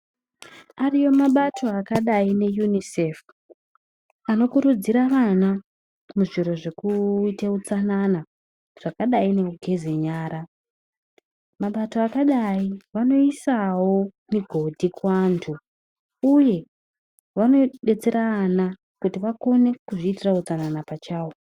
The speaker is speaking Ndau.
Ariyo mabato akadai neUNICef, anokurudzira vana muzviro zvekuite utsanana zvakadai nekugeze nyara mabato akadai vanoisawo migodhi kuvanhu uye vanodetsera vana kuti vakone kuzviitira utsanana pachavo.